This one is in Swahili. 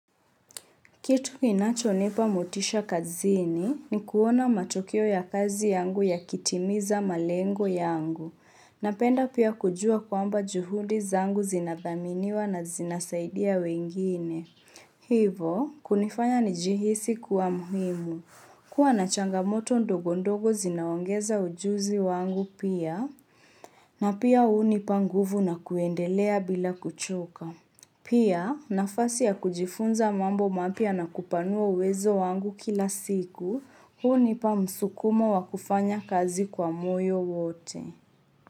Kitu kinacho nipa motisha kazini ni kuona matokeo ya kazi yangu yakitimiza malengo yangu. Napenda pia kujua kwamba juhudi zangu zinathaminiwa na zinasaidia wengine. Hivo, kunifanya nijihisi kuwa muhimu. Kuwa na changamoto ndogo ndogo zinaongeza ujuzi wangu pia. Na pia unipa nguvu na kuendelea bila kuchoka. Pia, nafasi ya kujifunza mambo mapya na kupanua uwezo wangu kila siku, hunipa msukumo wa kufanya kazi kwa moyo wote.